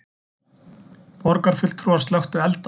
Borgarfulltrúar slökktu elda